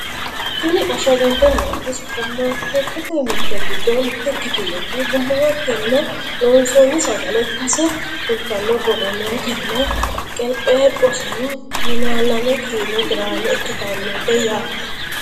tini ashshagante nooti supperimaarkeettete mirte giddo mitte ikkitinoti gummatenni loonsoonni sagale ikkase kultanno borro nootenna qelpheephoseno tonaa lame kiilo giraame ikkitannote yaate